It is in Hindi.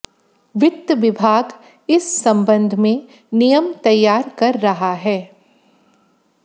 वित्त विभाग इस संबंध में नियम तैयार कर रहा है